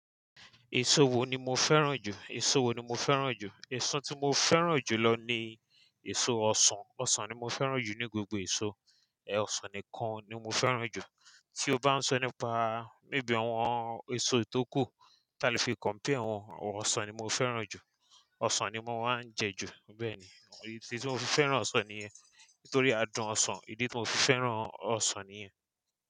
Èso wo ni mo fẹ́ràn jù? Èso wo ni mo fẹ́ràn jù? Èso tí mo fẹ́ràn jù lọ ni èso ọsàn. Ọsàn ni mo fẹ́ràn jù ní gbogbo èso. Ẹ̀ ọsàn nìkan ni mo fẹ́ràn jù. Tí o bá ń sọ nípa boya bí àwọn èso tó kù tí a lè fi compare wọn, ọ̀ ọsàn ni mo fẹ́ràn jù. Ọsàn ni mo máa ń jẹ ju. Bẹ́ẹ̀ni. Ìdí tí mo fi fẹ́ràn ọsàn ni niyẹn, nítorí adùn ọsàn. Ìdí tí mo fi fẹ́ràn ọsàn niyen.